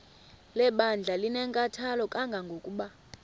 lebandla linenkathalo kangangokuba